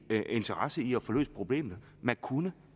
interesse i at få løst problemet man kunne